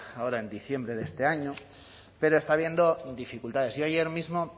ahora en diciembre de este año pero está habiendo dificultades yo ayer mismo